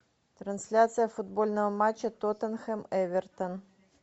трансляция футбольного матча тоттенхэм эвертон